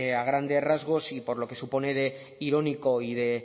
a grandes rasgos y por lo que supone de irónico y de